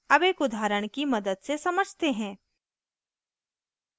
अब एक उदाहरण की मदद से समझते हैं